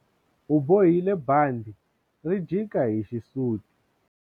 U bohile bandhi ri jika hi xisuti.